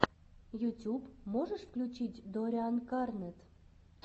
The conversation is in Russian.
ютюб можешь включить доррианкарнетт